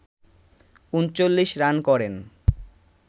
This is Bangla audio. ৩৯ রান করেন